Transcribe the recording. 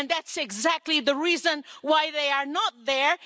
That's exactly the reason why they are not there.